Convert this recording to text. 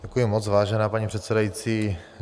Děkuji moc, vážená paní předsedající.